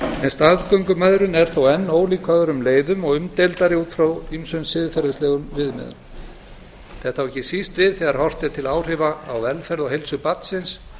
staðgöngumæðrun er þó enn ólík öðrum leiðum og umdeildari út frá ýmsum siðferðilegum viðmiðum þetta á ekki síst við þegar horft er til áhrifa á velferð og heilsu barnsins